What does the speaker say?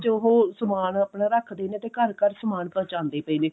ਵਿੱਚ ਉਹ ਸਮਾਨ ਆਪਣਾ ਰੱਖ ਦੇ ਨੇ ਤੇ ਘਰ ਘਰ ਸਮਾਨ ਪਹੁੰਚਾਉਂਦੇ ਪਾਏ ਨੇ